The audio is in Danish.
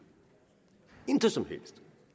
intet som helst